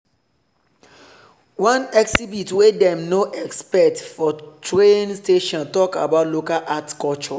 one exhibit wey dem no expect for train station talk about local art culture.